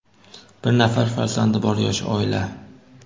Bir nafar farzandi bor, yosh oila.